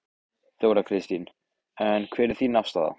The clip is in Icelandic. Þóra Kristín: En hver er þín afstaða?